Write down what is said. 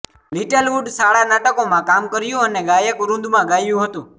little Wood શાળા નાટકોમાં કામ કર્યું અને ગાયકવૃંદમાં ગાયું હતું